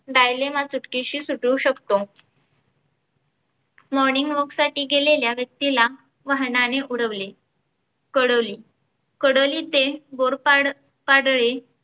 dialima सुटकेशी सुटू शकतो. morning walk साठी गेलेल्या व्यक्तीला वहानाने उडवीले. कडोली कडोली ते गोरपाड पाडळी